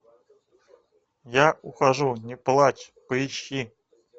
я ухожу не плачь поищи